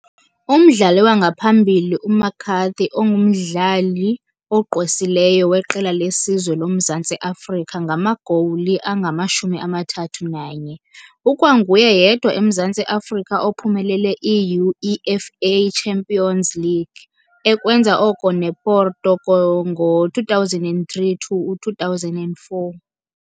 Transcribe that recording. Umdlali wangaphambili, uMcCarthy ungumdlali ogqwesileyo weqela lesizwe loMzantsi Afrika ngamagowuli angama-31. Ukwanguye yedwa eMzantsi Afrika ophumelele i-UEFA Champions League, ekwenza oko nePorto ngo2003 to 2004 .